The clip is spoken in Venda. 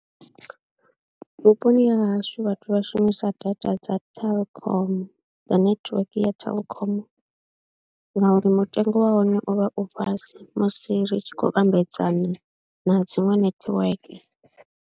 Vhuponi ha hashu vhathu vha shumisa data dza Telkom dza netiweke ya Telkom ngauri mutengo wa hone u vha u fhasi musi ri tshi khou vhambedzana na dziṅwe netiweke.